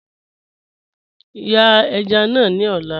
Yàn èjá náà ni ọ̀lá